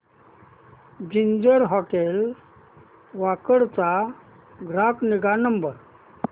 ginger hotel Wakad चा ग्राहक निगा नंबर